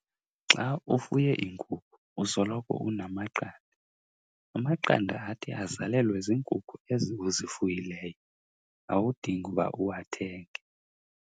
Xa ufuye iinkukhu usoloko unamaqanda. Amaqanda athi azalelwe ziinkukhu ezi uzifuyileyo, awudingi uba uwathenge.